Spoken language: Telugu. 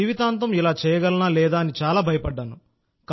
జీవితాంతం ఇలా చేయగలనా లేదా అని చాలా భయపడ్డాను